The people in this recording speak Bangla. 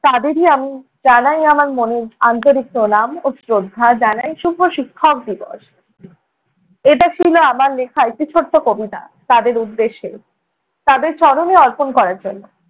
তাদেরই আমি জানাই আমার মনের আন্তরিক প্রণাম ও শ্রদ্ধা। জানাই শুভ শিক্ষা দিবস। এটা ছিলো আমার লেখা একটি ছোট্ট কবিতা, তাদের উদ্দেশ্যে। তাদের চরণে অর্পণ করার জন্য